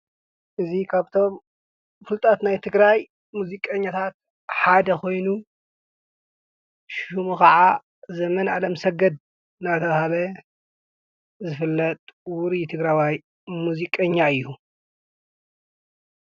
እዙይ ካብቶም ናይ ፍሉጣት ናይ ትግራይ ሙዚቀኛታት ሓደ ኾይኑ ሹሙ ኸዓ ዘመን ኣለምሰገድ እናተባህለ ዝፈለጥ ውሩይ ትግራዋይ ሙዚቀኛ እዩ።